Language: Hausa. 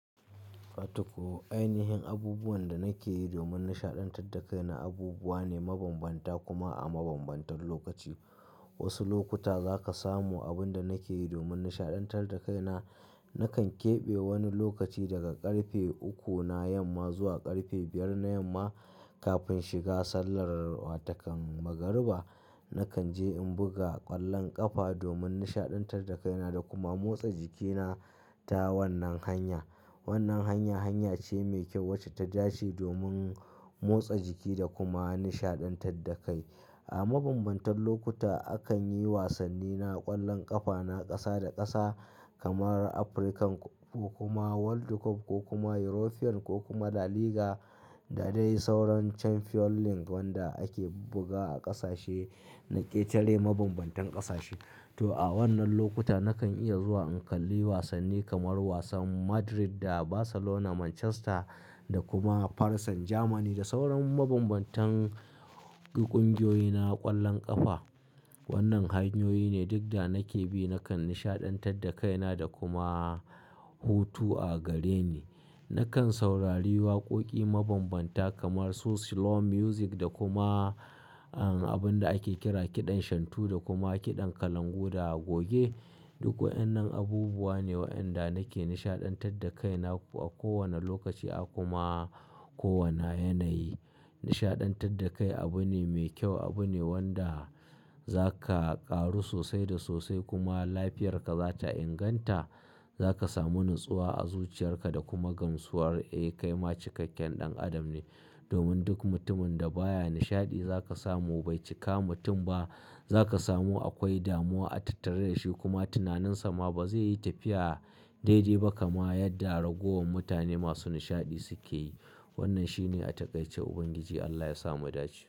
Wato ko ainihin abubuwan da nake yi domin nishaɗantar da kaina abubuwa ne mabambanta kuma a mabambantan lokaci. Wasu lokuta zaka samu abun da nake yi domin nishaɗantar da kaina. Nakan keɓe wani lokaci daga ƙarfe uku na yamma zuwa ƙarfe biyar na yamma. Kafin shiga sallar wato kan magariba, nakan je in buga ƙwallon ƙafa domin nishaɗantar da kaina da kuma motsa jikina ta wannan hanya. Wannan hanya hanya ce mai kyau wacce ta da'ce domin motsa jiki da kuma nishaɗantar da kai. A mabambantan lokuta akan yi wasanni na ƙwallon ƙafa na ƙasa da ƙasa kamar Afrikan ko-- ko kuma World Cup ko kuma European ko kuma La Liga da dai sauran Chamfion Link wanda ake buga a ƙasashe na ƙetare mabambantan ƙasashe. To, a wannan lokuta nakan iya zuwa in kalli wasanni kamar wasan Madrid da Barcelona, Manchester da kuma Farasan, Jamani da sauran mabambantan ƙungiyoyi na ƙwallon ƙafa. Wannan hanyoyi ne duk da nake bi, nakan nishaɗantar da kaina da kuma hutu a gareni. Nakan saurari waƙoƙi mabambanta kamar su Slow music da kuma, an, abin da ake kira kiɗan shantu da kuma kiɗan kalangu da goge. Duk waɗannan abubuwa ne wa'enda nake nishaɗantar da kaina a kowane lokaci a kuma kowane yanayi. Nishaɗantar da kai abu ne mai kyau, abu ne wanda zaka ƙaru sosai da sosai kuma lafiyarka za ta inganta. Zaka samu natsuwa a zuciyarka da kuma gamsuwar eh kai ma cikakken ɗan adam ne. Domin duk mutumin da baya nishaɗi zaka samu bai cika mutum ba. Zaka samu akwai damuwa a tattare da shi kuma tunaninsa ma ba zai yi tafiya daidai ba kamar yadda ragowar mutane masu nishaɗi suke yi. Wannan shi ne a takaice Ubangiji Allah ya sa mu dace.